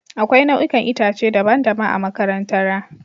Akwai nau'ikan itace daban-daban a makarantara